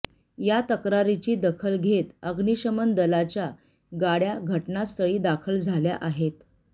या तक्रारींची दखल घेत अग्निशमन दलाच्या गाडय़ा घटनास्थळी दाखल झाल्या आहेत